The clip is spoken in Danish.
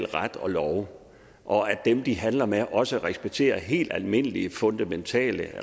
ret og lov og at dem de handler med også respekterer helt almindelige fundamentale